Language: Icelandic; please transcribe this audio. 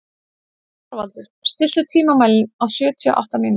Þorvaldur, stilltu tímamælinn á sjötíu og átta mínútur.